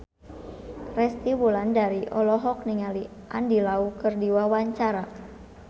Resty Wulandari olohok ningali Andy Lau keur diwawancara